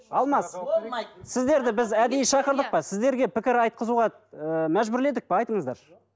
алмас болмайды сіздерді біз әдейі шақырдық па сіздерге пікір айтқызуға ы мәжбүрледік пе айтыңыздаршы